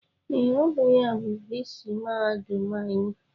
Ee, ọ bụ ya bụ viisii mahadum anyị